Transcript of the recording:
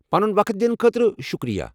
پنُن وقت دِنہٕ خٲطرٕ شُکریہ!